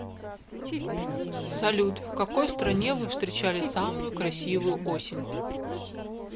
салют в какой стране вы встречали самую красивую осень